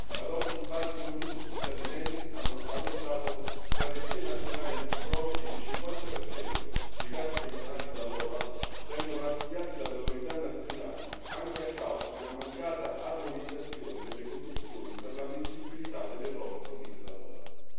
Ad oggi, infatti, non tutti gli Stati membri hanno adottato strategie nazionali antifrode e il 50 dei casi segnalati dall'OLAF vengono archiviati dalle autorità nazionali anche a causa di una mancata armonizzazione delle condizioni per l'ammissibilità delle prove fornite dall'OLAF.